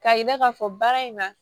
Ka yira k'a fɔ baara in na